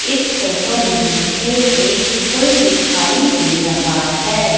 इस फोटो में मुझे एक पुल दिखाई दे रहा है।